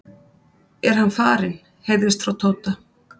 er hann farinn? heyrðist frá Tóta.